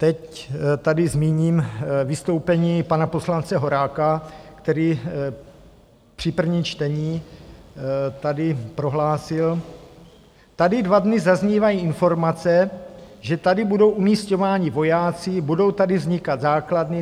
Teď tady zmíním vystoupení pana poslance Horáka, který při prvním čtení tady prohlásil: Tady dva dny zaznívají informace, že tady budou umisťováni vojáci, budou tady vznikat základny.